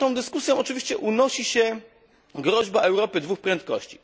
Nad tą dyskusją oczywiście unosi się groźba Europy dwóch prędkości.